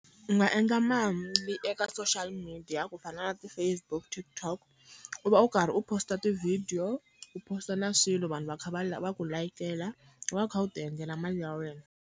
U nga endla eka social media ku fana na ti-Facebook, TikTok, u va u karhi u post-a ti-video, u post-a na swilo vanhu va kha va va ku layikela, u va kha u ti endlela mali ya wena.